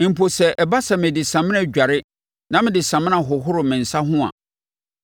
Mpo sɛ ɛba sɛ mede samina dware na mede samina hohoro me nsa ho a,